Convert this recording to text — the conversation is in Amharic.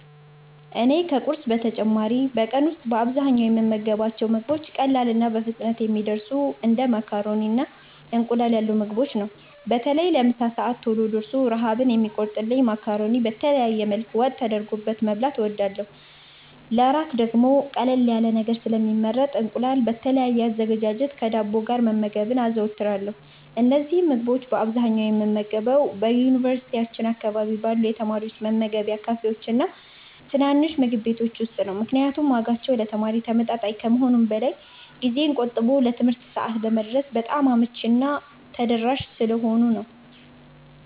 እኔ ከቁርስ በተጨማሪ በቀን ውስጥ በአብዛኛው የምመገባቸው ምግቦች ቀላልና በፍጥነት የሚደርሱ እንደ ማካሮኒና እንቁላል ያሉ ምግቦችን ነው። በተለይ ለምሳ ሰዓት ቶሎ ደርሶ ረሃብን የሚቆርጥልኝን ማካሮኒ በተለያየ መልክ ወጥ ተደርጎበት መብላት እወዳለሁ። ለእራት ደግሞ ቀለል ያለ ነገር ስለሚመረጥ እንቁላል በተለያየ አዘገጃጀት ከዳቦ ጋር መመገብ አዘወትራለሁ። እነዚህን ምግቦች በአብዛኛው የምመገበው በዩኒቨርሲቲያችን አካባቢ ባሉ የተማሪዎች መመገቢያ ካፌዎችና ትናንሽ ምግብ ቤቶች ውስጥ ነው፤ ምክንያቱም ዋጋቸው ለተማሪ ተመጣጣኝ ከመሆኑም በላይ ጊዜን ቆጥቦ ለትምህርት ሰዓት ለመድረስ በጣም አመቺና ተደራሽ ስለሆኑ ነው።